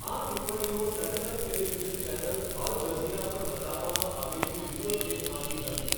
આ ટિપ્પણીઓ satellite television channel Al Jazeera પર બતાવવામાં આવેલી વિડિયો ટેપમાંથી હતી.